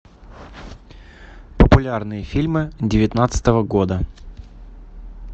популярные фильмы девятнадцатого года